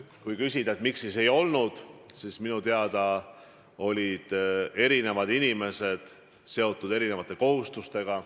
Kui küsida, miks siis ei olnud, siis minu teada olid eri inimesed seotud muude kohustustega.